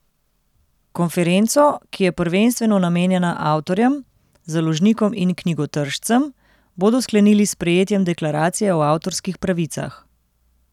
Konferenco, ki je prvenstveno namenjena avtorjem, založnikom in knjigotržcem, bodo sklenili s sprejetjem deklaracije o avtorskih pravicah.